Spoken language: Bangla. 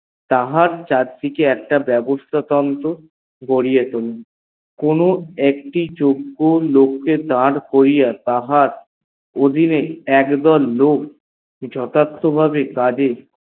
তাহার চারদিকে একটা বেবস্থা গড়িয়া তোলা একটি যজ্ঞ লোককে দার করিয়া তাহার অধীনে একদল লোক যথার্থ ভাবে কাজে